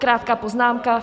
Krátká poznámka.